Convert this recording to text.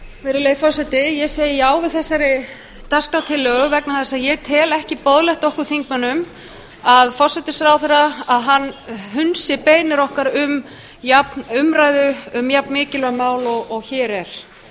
virðulegi forseti ég segi já við þessari dagskrártillögu vegna þess að ég tel ekki boðlegt okkur þingmönnum að forsætisráðherra að hann hunsi beiðnir okkar um umræðu um jafn mikilvæg mál og hér er